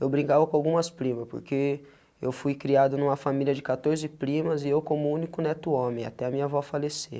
Eu brincava com algumas primas, porque eu fui criado numa família de catorze primas e eu como único neto homem, até minha avó falecer.